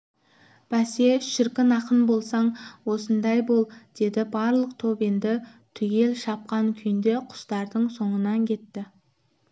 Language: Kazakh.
бәсе шіркін ақын болсаң осындай бол деді барлық топ енді түгел шапқан күйінде құстардың соңынан кетті